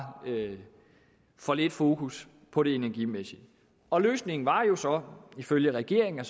for lidt fokus på det energimæssige og løsningen var jo så ifølge regeringen at